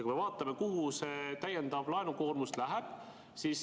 Vaatame, kuhu see täiendav laenukoormus läheb.